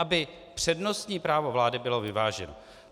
Aby přednostní právo vlády bylo vyváženo.